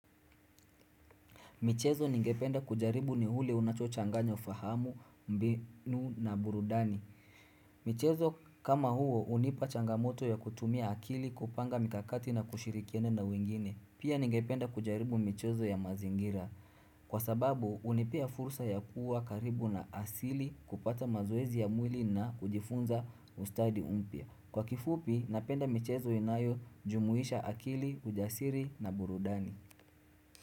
Michezo ningependa kujaribu ni ule unachochanganya ufahamu mbinu na burudani. Michezo kama huo hunipa changamoto ya kutumia akili kupanga mikakati na kushirikiana na wengine. Pia ningependa kujaribu michezo ya mazingira. Kwa sababu, hunipea fursa ya kuwa karibu na asili kupata mazoezi ya mwili na kujifunza ustadi mpya. Kwa kifupi, napenda michezo inayojumuisha akili, ujasiri na burudani.